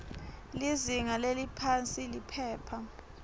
lizinga leliphansi liphepha